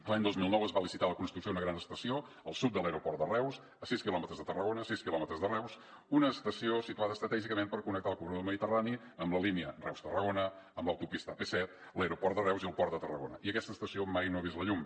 l’any dos mil nou es va licitar la construcció d’una gran estació al sud de l’aeroport de reus a sis quilòmetres de tarragona a sis quilòmetres de reus una estació situada estratègicament per connectar el corredor mediterrani amb la línia reus tarragona amb l’autopista ap set l’aeroport de reus i el port de tarragona i aquesta estació mai no ha vist la llum